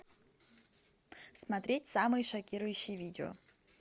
смотреть самые шокирующие видео